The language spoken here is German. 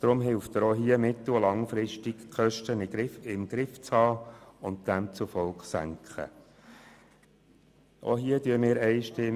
So hilft er auch hier die Kosten mittel- und langfristig im Griff zu behalten und sie demzufolge zu senken.